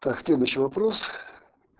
так следующий вопрос